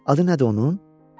Adı nədir onun?